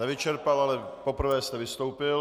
Nevyčerpal, ale poprvé jste vystoupil.